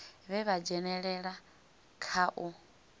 vhe vha dzhenelela kha u